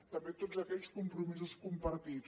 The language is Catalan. també tots aquells compromisos compartits